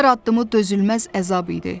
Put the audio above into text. Hər addımı dözülməz əzab idi.